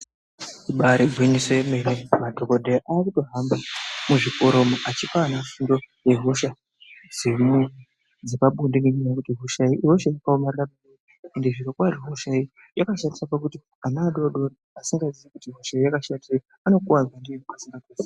Ibaari gwinyiso yemene madhogodheya aakutohamba muzvikora umu achipa ana fundo yehosha dzepabonde ngenyaya yekuti hosha iyi ihosha yakaomarara peya ende zvirokwazvo hosha iyi yakashatira pakuti ana adoodori asingazii kuti hosha iyi yakashatirei anokuvadzwa ndiyo pasina ruzivo.